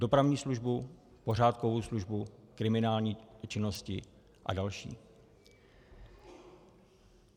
Dopravní službu, pořádkovou službu, kriminální činnosti a další.